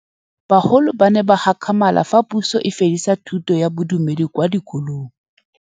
Bagolo ba ne ba gakgamala fa Pusô e fedisa thutô ya Bodumedi kwa dikolong.